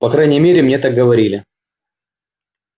по крайней мере мне так говорили